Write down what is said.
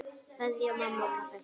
Kveðja mamma og pabbi.